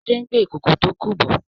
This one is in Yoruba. shade ngbé Ìkòkò tó kú bò.